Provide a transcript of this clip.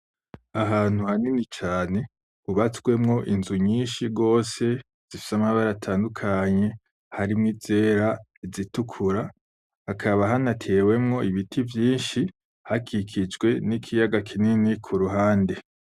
Ahantu hanini cane hubatswemwo inzu nyinshi gose zifise amabara atandukanye harimwo izera, izitukura; hakaba hanatewemwo ibiti vyinshi hakikijwe n'ikiyaga kuruhande.